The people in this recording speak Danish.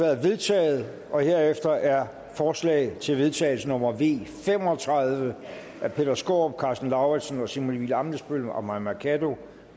er vedtaget herefter er forslag til vedtagelse nummer v fem og tredive af peter skaarup karsten lauritzen simon emil ammitzbøll og mai mercado